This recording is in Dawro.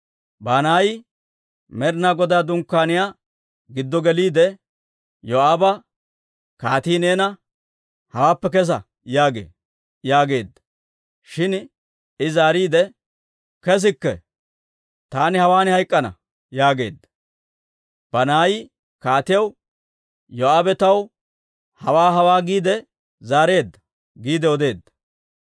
Banaayi Med'inaa Godaa Dunkkaaniyaa giddo geliide Yoo'aaba, «Kaatii neena, ‹Hawaappe kesa› yaagee» yaageedda. Shin I zaariide, «Kesikke! Taani hawaan hayk'k'ana» yaageedda. Banaayi kaatiyaw, «Yoo'aabe taw hawaa hawaa giide zaareedda» giide odeedda.